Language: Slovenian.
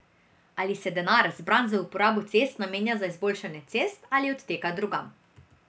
Ali se denar, zbran za uporabo cest, namenja za izboljšanje cest ali odteka drugam.